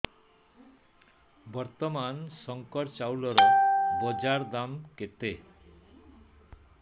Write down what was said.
ବର୍ତ୍ତମାନ ଶଙ୍କର ଚାଉଳର ବଜାର ଦାମ୍ କେତେ